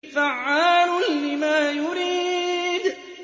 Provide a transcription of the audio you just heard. فَعَّالٌ لِّمَا يُرِيدُ